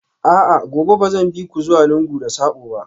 A'a, gobe ba zan bi ku zuwa lungu da sako ba?